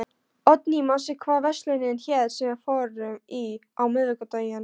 Oddný, manstu hvað verslunin hét sem við fórum í á miðvikudaginn?